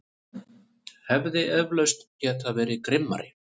Hefði eflaust getað verið grimmari.